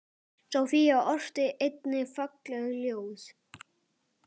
Soffía orti einnig falleg ljóð.